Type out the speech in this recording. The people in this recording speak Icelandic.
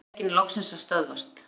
Olíulekinn loksins að stöðvast